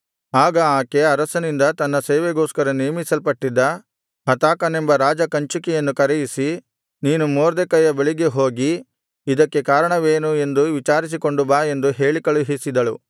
ಆಗ ಆಕೆ ಅರಸನಿಂದ ತನ್ನ ಸೇವೆಗೋಸ್ಕರ ನೇಮಿಸಲ್ಪಟ್ಟಿದ್ದ ಹತಾಕನೆಂಬ ರಾಜ ಕಂಚುಕಿಯನ್ನು ಕರೆಯಿಸಿ ನೀನು ಮೊರ್ದೆಕೈಯ ಬಳಿಗೆ ಹೋಗಿ ಇದಕ್ಕೆ ಕಾರಣವೇನು ಎಂದು ವಿಚಾರಿಸಿಕೊಂಡು ಬಾ ಎಂದು ಹೇಳಿಕಳುಹಿಸಿದಳು